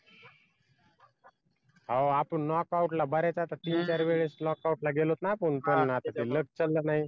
आहो आपण not out ला बऱ्याच आता तीन चार वेळेस not out ला गेलोच ना आपण luck चाललं नाही